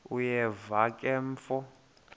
uyeva ke mfo